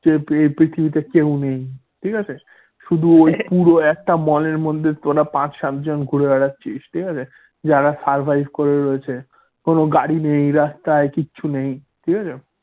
যে পৃথিবীতে কেউ নেই ঠিক আছে? শুধু একটা mall এর মধ্যে তোরা পাঁচ সাত জন ঘুরে বেড়াচ্ছিস ঠিক আছে? যারা survive করে রয়েছে কোন গাড়ি নেই রাস্তায় কিছু নেই ঠিক আছে?